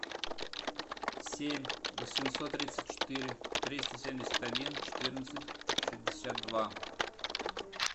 семь восемьсот тридцать четыре триста семьдесят один четырнадцать шестьдесят два